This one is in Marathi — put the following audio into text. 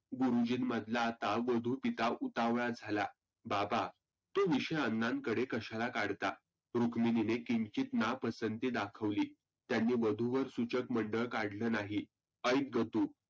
गुरुजींमधला पिता उतावळा झाला. बाबा तो विषय अण्णांकडे कशाला काढता? रुक्मिनीने किंचीत ना पसंती दाखवली. त्यांनी वधु वर सुचक मंडळ काढलं नाही ऐक ग तु